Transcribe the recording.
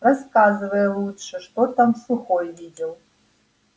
рассказывай лучше что там сухой видел